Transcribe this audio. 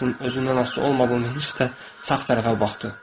Heltton özündən asılı olmadan hiss-də sağ tərəfə baxdı.